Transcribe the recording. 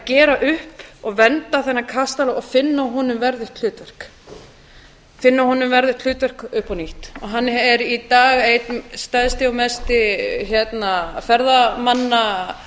gera upp og vernda þennan kastala og finna honum verðugt hlutverk upp á nýtt hann er í dag einn stærsti og mesti ferðamanna